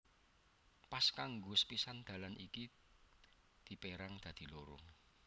Pas kanggo sapisan dalan iki dipérang dadi loro